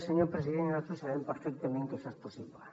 senyor president nosaltres sabem perfectament que això és possible